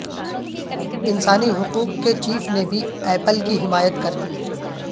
انسانی حقوق کے چیف نے بھی ایپل کی حمایت کر دی